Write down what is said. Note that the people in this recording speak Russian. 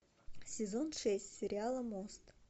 сезон шесть сериала мост